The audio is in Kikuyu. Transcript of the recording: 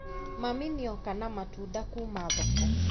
Mami nĩoka na matunda kuma thoko